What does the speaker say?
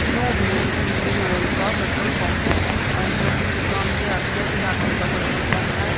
यो भी एक Indian oil का पेट्रोल पंप है और यह किसी गांधी के इलाके के पेट्रोल पंप है।